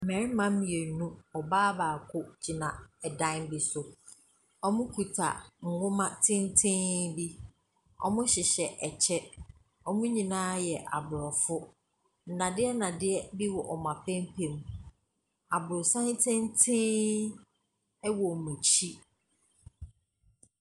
Mmarima mmienu, ɔbaa baako gyina ɛdan bi so. Wɔmo kuta nnwoma tenten bi. Wɔmo hyehyɛ ɛkyɛ, wɔmo nyinaa yɛ abrɔfo. Nnadeɛ nnadeɛ bi wɔ wɔn apampam. Abrɔsan tenten ɛwɔ wɔn akyi.